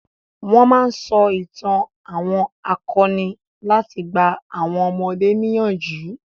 Wọn máa ń sọ itàn àwọn akọni láti gba àwọn ọmọdé níyànjú.